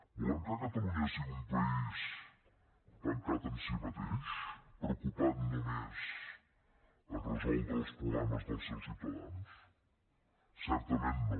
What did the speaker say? volem que catalunya sigui un país tancat en si mateix preocupat només per resoldre els problemes dels seus ciutadans certament no